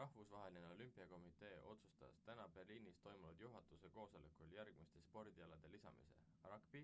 rahvusvaheline olümpiakomitee otsustas täna berliinis toimunud juhatuse koosolekul järgmiste spordialade lisamise ragbi